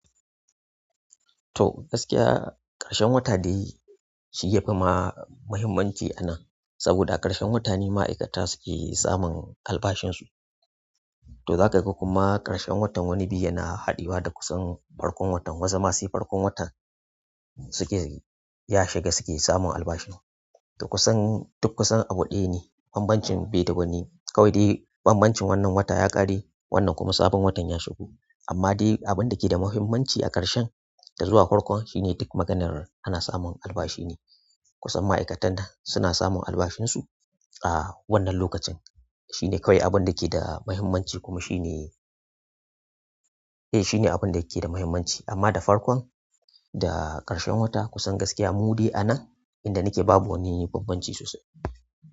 To gaskiya ƙarshen wata dai shi yafi ma muhimmanci a nan, saboda a ƙarshen wata ne ma'aikata suke samun albashinsu. To za ka ga kuma ƙarshen watan wani biyu yana haɗuwa da kusan farkon watan wata ma sai farkon watan suke ya shiga suke samun albashin su. To kusan duk kusan abu ɗaya ne, banbancin bai da wani kawai dai bambancin wannan wata ya ƙare wannan kuma sabon watan ya shigo. Amma dai abin da ke da muhimmanci a ƙarshen da zuwa farkon shine duk maganar ana samun albashi ne. Kusan ma'aikatan da suna samun albashinsu a wannan lokacin shine kawai abun da ke da muhimmanci kuma shi ne, eh shi ne abin da yake da muhimmanci amma da farkon da ƙarshen wata kusan gaskiya mu dai a nan inda nake babu wani bambanci sosai.